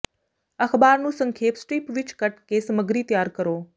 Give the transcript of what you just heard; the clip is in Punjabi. ਅਖ਼ਬਾਰ ਨੂੰ ਸੰਖੇਪ ਸਟਰਿਪ ਵਿਚ ਕੱਟ ਕੇ ਸਮੱਗਰੀ ਤਿਆਰ ਕਰੋ